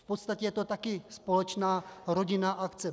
V podstatě je to také společná rodinná akce.